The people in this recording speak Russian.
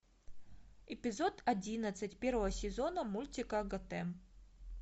эпизод одиннадцать первого сезона мультика готэм